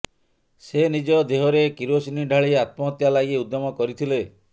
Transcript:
ସେ ନିଜ ଦେହରେ କରୋସିନି ଢାଳି ଆତ୍ମହତ୍ୟା ଲାଗି ଉଦ୍ୟମ କରିଥିଲେ